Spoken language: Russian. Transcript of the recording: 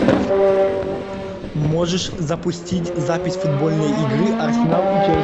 можешь запустить запись футбольной игры арсенал и челси